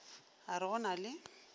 a re go na le